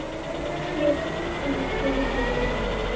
Ég tók hann úr búrinu, já.